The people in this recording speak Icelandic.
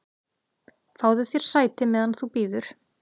"""Fáðu þér sæti, meðan þú bíður"""